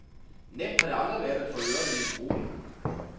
Nemt har det aldrig været at få ørenlyd i gruppen.